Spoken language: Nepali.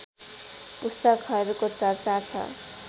पुस्तकहरूको चर्चा छ